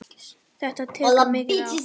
Þetta tekur mikið á.